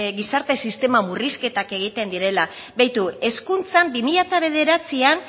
gizarte sisteman murrizketak egiten direla beitu hezkuntzan bi mila bederatzian